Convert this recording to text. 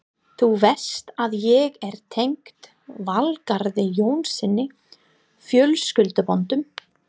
Þú veist að ég er tengd Valgarði Jónssyni fjölskylduböndum.